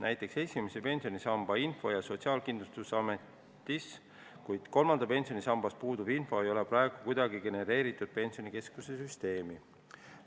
Näiteks esimese pensionisamba info on Sotsiaalkindlustusametis, kuid kolmandat pensionisammast puudutav info ei ole praegu Pensionikeskuse süsteemi kuidagi genereeritud.